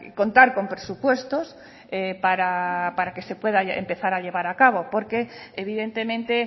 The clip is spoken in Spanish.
contar con presupuestos para que se pueda empezar a llevar a cabo porque evidentemente